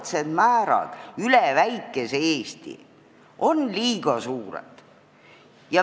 Tasude ebavõrdsus üle väikese Eesti on liiga suur.